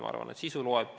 Ma arvan, et sisu loeb.